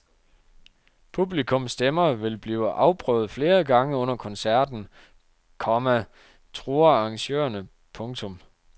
Publikums stemmer vil blive afprøvet flere gange under koncerten, komma truer arrangørerne. punktum